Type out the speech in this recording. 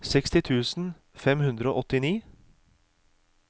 seksti tusen fem hundre og åttini